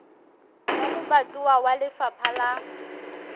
wa lebatowa wa lefapha la